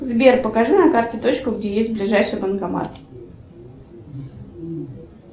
сбер покажи на карте точку где есть ближайший банкомат